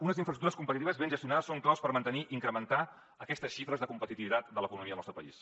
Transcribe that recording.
unes infraestructures competitives ben gestionades són clau per mantenir i incrementar aquestes xifres de competitivitat de l’economia del nostre país